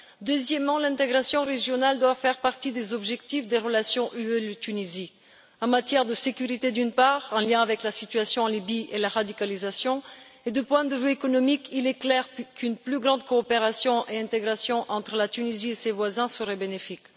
Deuxièmement, l'intégration régionale doit faire partie des objectifs des relations UE Tunisie, en matière de sécurité d'une part, en lien avec la situation en Libye et la radicalisation, et du point de vue économique d'autre part, il est clair, qu'une plus grande coopération et intégration entre la Tunisie et ses voisins serait bénéfique.